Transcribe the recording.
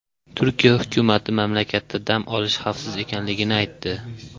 Turkiya hukumati mamlakatda dam olish xavfsiz ekanligini aytdi.